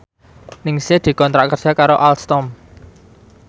Ningsih dikontrak kerja karo Alstom